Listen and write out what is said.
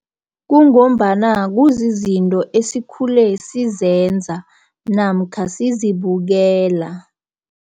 Kungombana kuzizinto esikhule sizenza, namkha sizibukela.